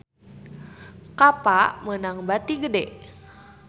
Kappa meunang bati gede